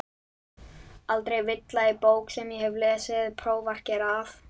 Aldrei villa í bók sem ég hef lesið prófarkir að.